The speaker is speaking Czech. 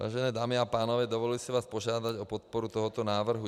Vážené dámy a pánové, dovoluji si vás požádat o podporu tohoto návrhu.